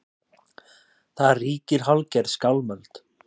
Þar ríkir hálfgerð skálmöld